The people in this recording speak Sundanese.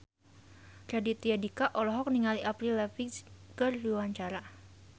Raditya Dika olohok ningali Avril Lavigne keur diwawancara